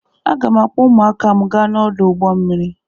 Aga m akpọ ụmụaka m aga ọdụ ụgbọ mmiri.